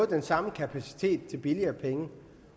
den samme kapacitet til billigere penge